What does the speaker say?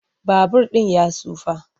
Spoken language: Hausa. Babur ɗin ya tsufa.